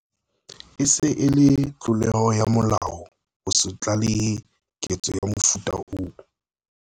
E se e le tlolo ya molao ho se tlalehe ketso ya mofuta oo.